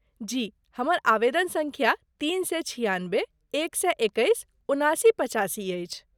जी, हमर आवेदन सङ्ख्या तीन सए छिआनबे एक सए एकैस उनासी पचासी अछि।